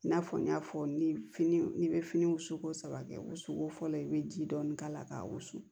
I n'a fɔ n y'a fɔ ni fini n'i bɛ fini wusu ko saba kɛ o suko fɔlɔ i bɛ ji dɔɔni k'a la ka wusu